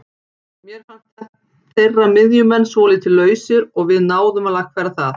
Mér fannst þeirra miðjumenn svolítið lausir og við náðum að lagfæra það.